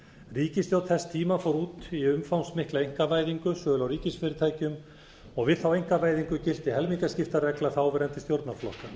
ríkisstjórn þess tíma fór út í umfangsmikla einkavæðingu sölu á ríkisfyrirtækjum og við þá einkavæðingu gilti helmingaskiptaregla þáverandi stjórnarflokka